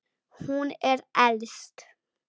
Hún er elst.